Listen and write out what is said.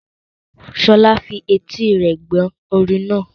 Sola fi etí rẹ̀ gbọ́ orin náà.